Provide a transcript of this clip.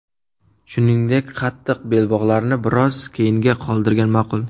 Shuningdek, qattiq belbog‘larni biroz keyinga qoldirgan ma’qul.